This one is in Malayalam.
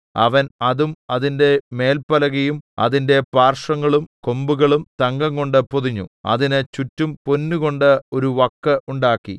അവൻ അതും അതിന്റെ മേല്പലകയും അതിന്റെ പാർശ്വങ്ങളും കൊമ്പുകളും തങ്കംകൊണ്ട് പൊതിഞ്ഞു അതിന് ചുറ്റും പൊന്നുകൊണ്ട് ഒരു വക്ക് ഉണ്ടാക്കി